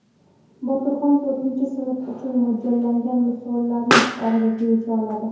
Botirxon to‘rtinchi sinf uchun mo‘ljallangan misollarni og‘zaki yecha oladi.